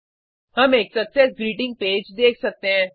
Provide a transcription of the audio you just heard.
हम एक success greeting page देख सकते हैं